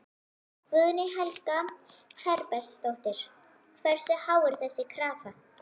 Guðný Helga Herbertsdóttir: Hversu há er þessi krafa?